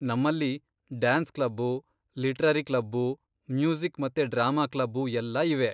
ನಮ್ಮಲ್ಲಿ dance club, literary club, music ಮತ್ತೆ drama club ಎಲ್ಲ ಇವೆ.